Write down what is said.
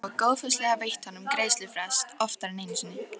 Þau hafa góðfúslega veitt honum greiðslufrest oftar en einu sinni.